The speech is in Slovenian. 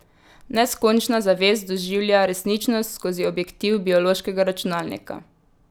Neskončna zavest doživlja resničnost skozi objektiv biološkega računalnika.